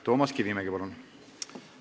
Toomas Kivimägi, palun!